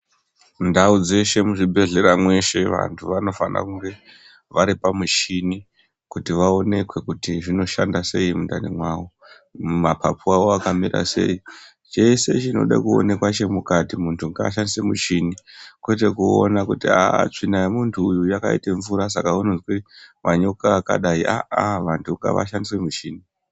Ndau dzeshe muzvibhedhlera zveshe vantu vanofana kunge varipa mushini kuti vaonekwe zvinoshanda sei mukati mawo mapapunawo akamira sei cheee chinoda kuonekwa mukati muntu ngashandise muchini kwete kuona kuti haaa tsvina yemuntu uyu yakaita mvura Saka unoznwa manyoka akadai haha vantu ngavashandise michini.